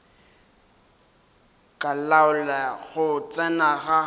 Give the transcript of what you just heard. go laola go tsena ga